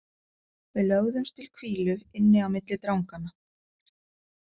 Við lögðumst til hvílu inni á milli dranganna.